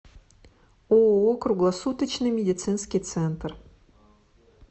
ооо круглосуточный медицинский центр